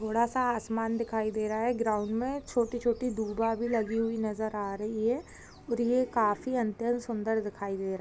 थोड़ा सा आसमान दिखाई दे रहा है ग्राउंड मे छोटी - छोटी दुर्बा भी लगी हुई नजर आ रही है और ये काफी हद तक सुंदर दिखाई दे रहा है।